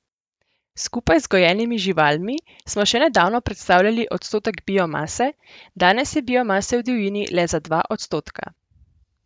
Skupaj z gojenimi živalmi smo še nedavno predstavljali odstotek biomase, danes je biomase v divjini le za dva odstotka.